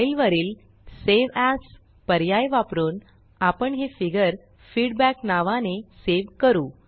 file file वरील save as पर्याय वापरुन आपण हे फिगर feedbackफीडबॅक नावाने सेव करू